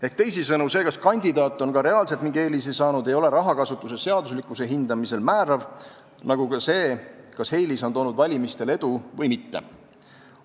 Ehk teisisõnu, see, kas kandidaat on ka reaalselt mingi eelise saanud, ei ole rahakasutuse seaduslikkuse hindamisel määrav, nagu ka see, kas eelis on toonud valimistel edu või mitte.